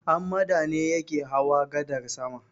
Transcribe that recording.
Hammada ne yake hawa gadar sama.